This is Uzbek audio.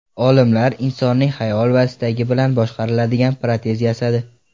Olimlar insonning xayol va istagi bilan boshqariladigan protez yasadi.